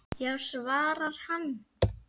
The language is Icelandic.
Já svarar hann.